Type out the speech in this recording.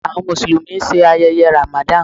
Awọn Musulumi ṣe ayẹyẹ Ramadan